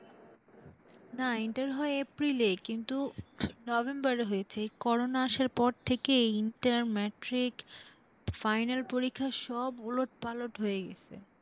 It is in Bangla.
না ইন্টার হয় April এ কিন্তু November এ হয়েছে, এই corona আসার পর থেকে এই ইন্টার, ম্যাট্রিক final পরীক্ষা সব ওলট পালট হয়ে গেসে,